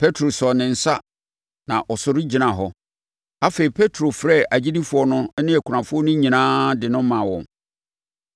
Petro sɔɔ ne nsa ma ɔsɔre gyinaa hɔ. Afei, Petro frɛɛ agyidifoɔ no ne akunafoɔ no nyinaa de no maa wɔn.